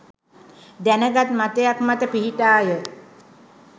දැන ගත් මතයක් මත පිහිටාය.